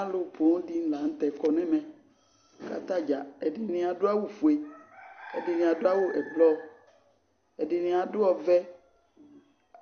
Alʋ poo dɩnɩ la nʋ tɛ kɔ nʋ ɛmɛ, kʋ atadza ɛdɩnɩ adʋ awʋ ofue, ɛdɩnɩ adʋ awʋ ɛblɔ, ɛdɩnɩ adʋ ɔvɛ,